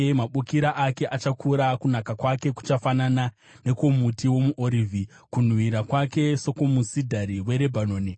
mabukira ake achakura. Kunaka kwake kuchafanana nekwomuti womuorivhi, kunhuhwira kwake sekwomusidhari weRebhanoni.